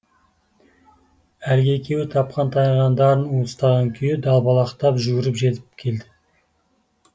әлгі екеуі тапқан таянғандарын уыстаған күйі далбалақтап жүгіріп жетіп келді